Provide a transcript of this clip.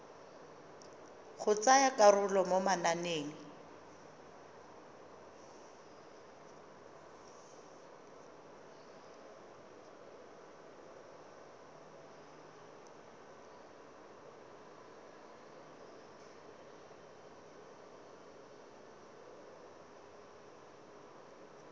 go tsaya karolo mo mananeng